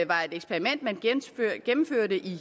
var et eksperiment man gennemførte i